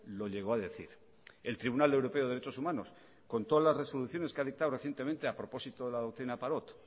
lo llegó a decir el tribunal europeo de derechos humanos con todas las resoluciones que ha dictado recientemente a propósito de la doctrina parot